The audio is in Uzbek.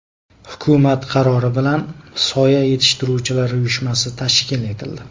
Hukumat qarori bilan Soya yetishtiruvchilar uyushmasi tashkil etildi.